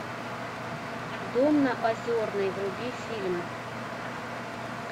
дом на озерной вруби фильм